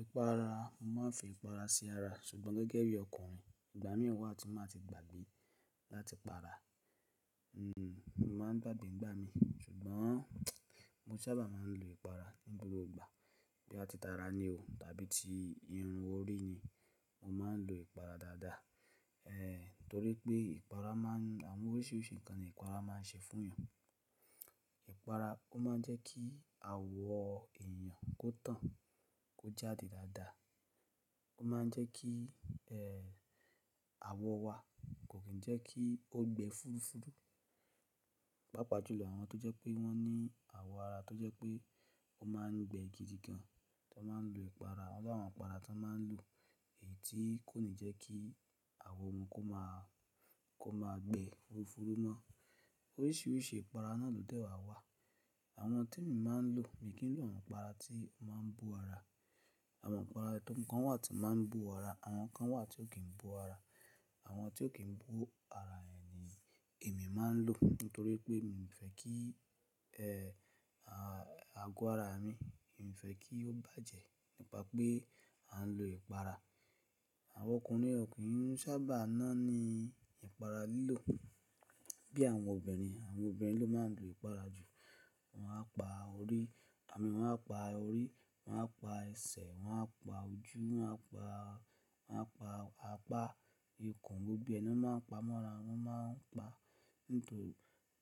Ìpara, mo máa ń fi ìpara si ara, ṣùgbọ́n gẹ́gẹ́ bí ọkùnrin, ìgbà mìí wà tí máa tí gbàgbé láti pa àrà Ǹ, mo máà ń gbàgbé ìgbà mi, ṣùgbọ́n mo sábà máa ń lo ìpara nígbà gbogbo. Bí a ti tara ni o tàbí ti irun orí ni, mo máa ń lo ìpara dáadáa. Ehn, torí pé ìpara máa ń-- àwọn oríṣiríṣi nǹkan ni ìpara máa ń ṣe fún èèyàn. Ìpara, ó máa ń jẹ́ kí àwọ̀ èèyàn kó tán, kó jáde dáadáa. Ó máa ń jẹ́ kí, ehn, àwọ̀ wa kò kí ń jẹ́ kí o gbẹ fúfú. Pápa jù lọ, àwọn tó jẹ́ pé wọ́n ní àwọ̀ ara tó jẹ́ pé ó máa ń gbẹ gidigan, wọn máa ń lo ìpara. Wọn ló àwọn ìpara tí wọn máa ń lò èyí tí kò ní jẹ́ kí àwọ̀ wọn kó máa, kó máa gbẹ fúfú mọ́. Oríṣiríṣi ìpara náà lòdẹ̀ wá wà. Àwọn tí mo máa ń lò, mi kì í lò àwọn ìpara tí ó máa ń bó ara. Àwọn ìpara tí ọ̀kán wà tí ó máa ń bú ara, àwọn kan wà tí ò kí ń bú ara. Àwọn tí ò kí ń bú ara èèyí ni èmi máa ń lò nítorí pé mi ò fẹ́ kí, ehn, à, àgọ́ ara mi, mi ò fẹ́ kí ó bàjẹ́ nípa pé a ń lo ìpara. Àwọn ọkùnrin ò kí ń sábà nánì ìpara lílò bí àwọn obìnrin. Àwọn obìnrin ló máa ń lo ìpara jù. Wọ́n á pa orí, àmì wọ́n á pa orí, wọ́n á pa ẹsẹ̀, wọn á pa ojú, wọn á pa, wọn á pa apá ikùn, gbogbo ná máa ń pa mọ́ra, wọn máa ń pa ní tò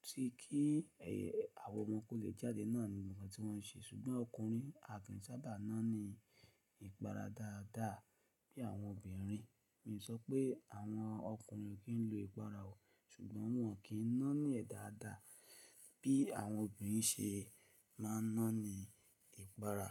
tí kí, ehn, àwọ̀ wọn kó lè jáde náà ni nǹkan tí wọn ṣe. Ṣùgbọ́n ọkùnrin, a kì í sábà nánì ìpara dáadáa bí àwọn obìnrin. Mi ò sọ pé àwọn ọkùnrin ò kí ń lo ìpara o, ṣùgbọ́n wọn kì í nánì ẹ́ dáadáa bí àwọn obìnrin ṣe máa ń nánì ìpara.